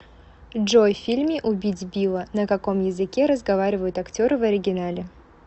джой в фильме убить билла на каком языке разговаривают актеры в оригинале